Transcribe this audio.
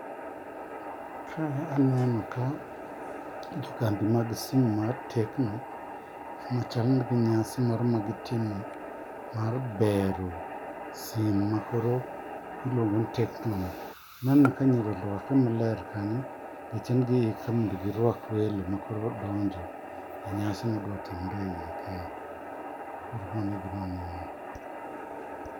Kae aneno ka jokambi mag sime mar tecno machal ni gin gi nyasi moro magitimo mar bero sime makoro iluongo ni tecno no. Aneno ka nyiri oruakre maler kanyo manyiso ni giikre mondo giruak welo makoro donjo e nyasi